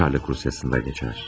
Çarlıq Rusiyasında keçər.